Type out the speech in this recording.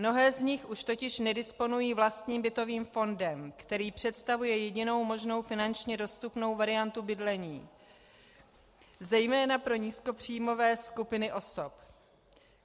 Mnohé z nich už totiž nedisponují vlastním bytovým fondem, který představuje jedinou možnou finančně dostupnou variantu bydlení zejména pro nízkopříjmové skupiny osob.